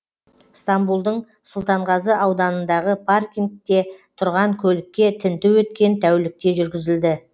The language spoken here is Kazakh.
стамбулдың сұлтанғазы ауданындағы паркингте тұрған көлікке тінту өткен тәулікте жүргізілді